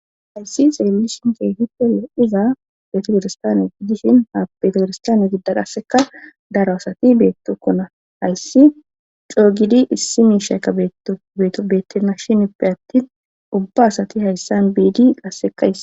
hayssi xeelishin hitole iza beetogoristaane gidishin ha betogoristane gidda qasseka daro asati beettokkona hayssi coogidi issi mi shayka beetto beeto bettena shin ippe atti ubba asati hayssan biidi qassekays